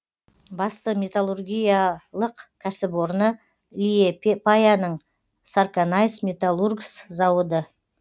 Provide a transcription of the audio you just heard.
басты металлургиялық кәсіпорны лиепаяның сарканайс металургс зауыды